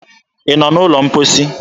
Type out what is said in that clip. Ị nọ n'ụlọ mposi?